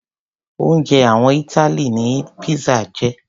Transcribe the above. Oúnjẹ àwọn Italy ni pizza jẹ́.